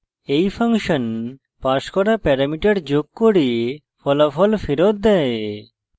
এই function passed করা parameter যোগ করে ফলাফল ফেরত দেয়